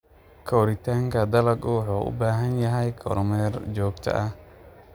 Koritaanka dalaggu wuxuu u baahan yahay kormeer joogto ah.